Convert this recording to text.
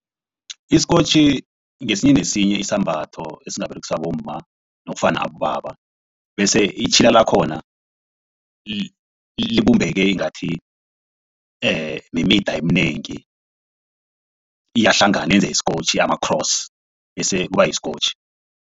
Isikotjhi ngesinye nesinye isambatho esingaberegiswa bomma nofana abobaba bese itjhila lakhona libumbeke ingathi mimida eminengi iyahlangana yenze isikontjhi ama-cross bese kuba yisikotjhi.